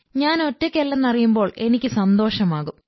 ഞാൻ ഒറ്റയ്ക്കല്ലെന്നറിയുമ്പോൾ എനിക്ക് സന്തോഷമാകും